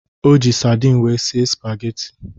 O ji sardin wee sie spageti